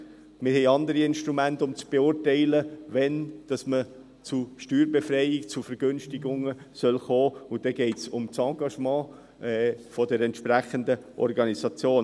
Wir haben andere Instrumente, um zu beurteilen, wann man zu einer Steuerbefreiung, zu Vergünstigungen, kommen kann, und dann geht es um das Engagement der entsprechenden Organisation.